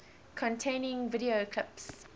containing video clips